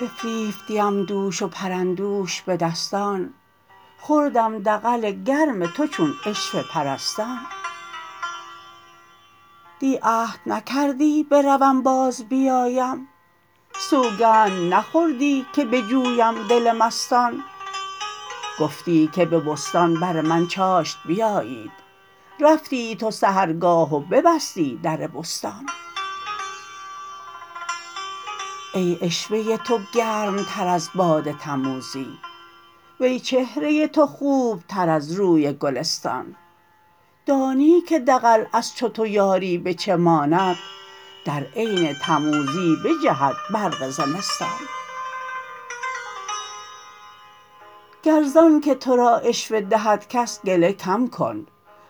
بفریفتیم دوش و پرندوش به دستان خوردم دغل گرم تو چون عشوه پرستان دی عهد نکردی بروم بازبیایم سوگند نخوردی که بجویم دل مستان گفتی که به بستان بر من چاشت بیایید رفتی تو سحرگاه و ببستی در بستان ای عشوه تو گرمتر از باد تموزی وی چهره تو خوبتر از روی گلستان دانی که دغل از چو تو یاری به چه ماند در عین تموزی بجهد برق زمستان گر زانک تو را عشوه دهد کس گله کم کن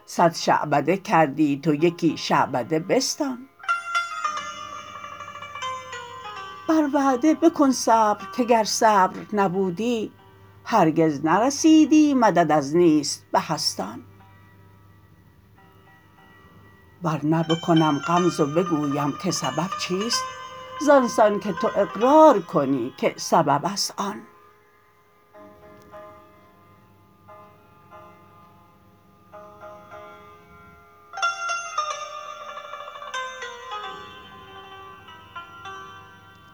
صد شعبده کردی تو یکی شعبده بستان بر وعده مکن صبر که گر صبر نبودی هرگز نرسیدی مدد از نیست بهستان ور نه بکنم غمز و بگویم که سبب چیست زان سان که تو اقرار کنی که سبب است آن